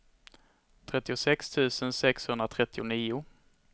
trettiosex tusen sexhundratrettionio